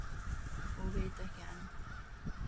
Og veit ekki enn!